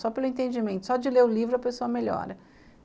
Só pelo entendimento, só de ler o livro a pessoa melhora.